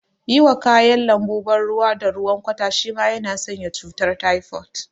Yiwa kayan lambu ban ruwa da ruwan kwata shima na sanya cutar taifot